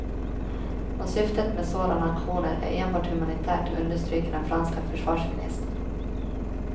Och syftet med sådana aktioner är enbart humanitärt, understryker den franske försvarsministern.